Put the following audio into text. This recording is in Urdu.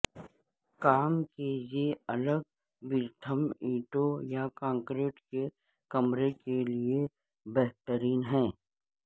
کام کا یہ الگورتھم اینٹوں یا کنکریٹ کے کمرے کے لئے بہترین ہے